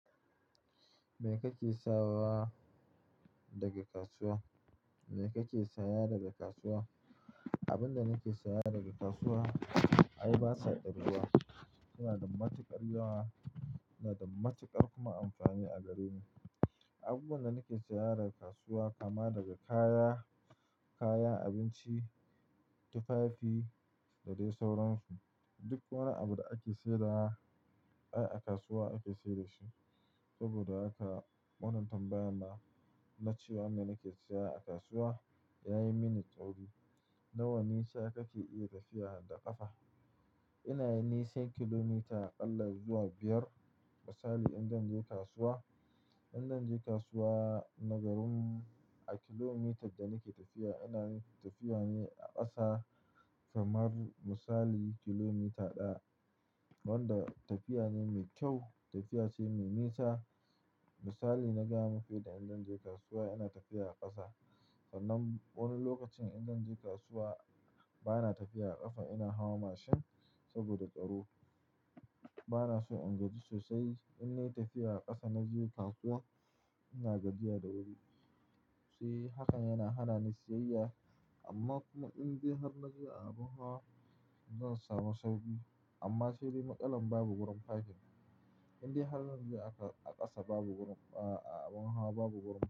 Me kake sawa daga kasuwa? Me kake saya daga kasuwa? Abin da nake saya daga kasuwa ai basa ƙirguwa. Suna da matukar yawa, suna da matuƙar kuma amfani a gare ni. Abubuwan da nake saya daga kasuwa kama daga kaya, kaya, abinci, tufafi da dai sauransu. Duk wani abu da ake saidawa ai a kasuwa ake sai da shi. Saboda haka wannan tambayan nan na cewa me nake saya a kasuwa yayi mini tsauri. Nawa nisa kake iya tafiya da ƙafa? Ina yin nisan kilomita aƙalla zuwa biyar. Misali idan zan je kasuwa, idan zan je kasuwa na garin mu a kilomitar da nake tafiya, ina tafiya ne a ƙasa kamar misali kilomita ɗaya. Wanda tafiya ne mai kyau, tafiya ce mai nisa. Misali na gaya muku yanda in zan je kasuwa ina tafiya a ƙasa sannan wani lokacin in zan je kasuwa bana tafiya a ƙafa, ina hawa mashin saboda tsaro. Bana so in gaji sosai. Idan nayi tafiya a ƙasa naje kasuwa ina gajiya da wuri. Shi hakan yana hana ni siyayya, amma kuma in de har naje a abin hawa zan samu sauƙi. Amma sai de matsalan babu wurin parking. In de har zanje a ƙasa babu wurin, a abin hawa babu wurin.